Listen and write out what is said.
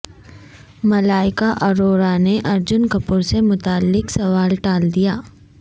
ملیکا اروڑا نے ارجن کپور سے متعلق سوال ٹال دیا